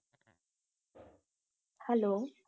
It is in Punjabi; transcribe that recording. hello